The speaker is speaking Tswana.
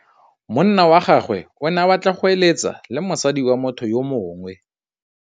Monna wa gagwe o ne a batla go êlêtsa le mosadi wa motho yo mongwe.